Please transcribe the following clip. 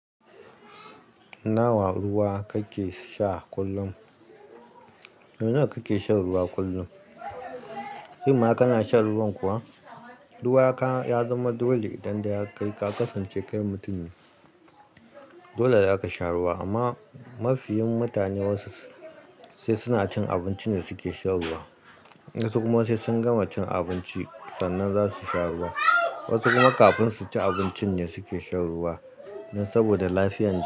Nawa ruwa kake sha kullum? Mene kake shan ruwa kullum? Imma kana shan ruwan kuwa? Ruwa ka-ya zama dole, idan dai har kai ka kasance kai mutum ne. Dole za ka sha ruwa, amma mafi yin mutane wasu sai suna cin abinci ne suke sha ruwa. Wasu kuma sai sun gama cin abinci sannan za su sha ruwa. Wasu kuma kafin su ci abincin ne suke sha ruwa. Dan saboda lafiyar jiki.